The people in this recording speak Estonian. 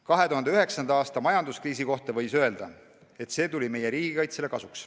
2009. aasta majanduskriisi kohta võis öelda, et see tuli meie riigikaitsele kasuks.